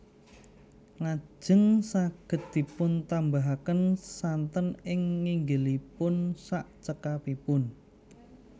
Lajeng saged dipun tambahaken santen ing nginggilipun sak cekapipun